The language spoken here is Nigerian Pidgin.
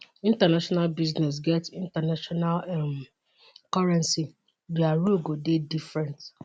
international business get international um currency dia rule go dey different